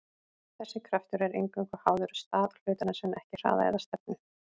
þessi kraftur er eingöngu háður stað hlutarins en ekki hraða eða stefnu